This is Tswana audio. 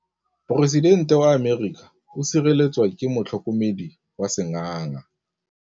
Poresitêntê wa Amerika o sireletswa ke motlhokomedi wa sengaga.